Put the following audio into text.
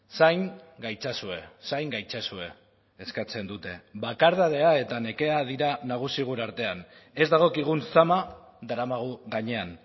zain gaitzazue zain gaitzazue eskatzen dute bakardadea eta nekea dira nagusi gure artean ez dagokigun zama daramagu gainean